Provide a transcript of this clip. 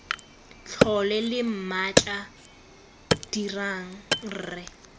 tlhole lo mmatla dirang rre